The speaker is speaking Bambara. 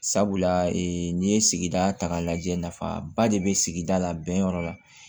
Sabula n'i ye sigida ta k'a lajɛ nafaba de be sigida la bɛnyɔrɔ la